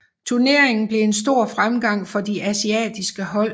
Turneringen blev en stor fremgang for de asiatiske hold